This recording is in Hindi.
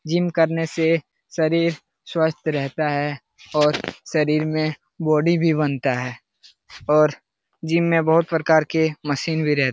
जिम करने से शरीर स्वस्थ रहता है और शरीर में बॉडी भी बनता है और जिम में बहुत प्रकार के मशीन भी रह --